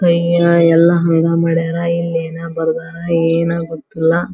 ಕೈ ಎಲ್ಲ ಹಂಗ ಮಾಡ್ಯಾರ ಇಲ್ ಯೇನ ಬರ್ದಾರ ಯೇನ ಗೊತ್ತಿಲ್ಲ .